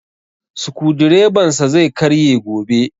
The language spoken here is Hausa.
Sukudireban sa zai karye gobe